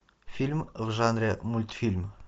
фильм в жанре мультфильм